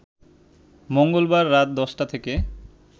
মঙ্গলবার রাত ১০টা থেকে